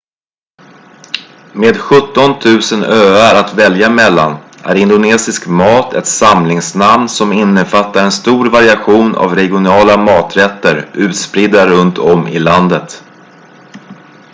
med 17 000 öar att välja mellan är indonesisk mat ett samlingsnamn som innefattar en stor variation av regionala maträtter utspridda runt om i landet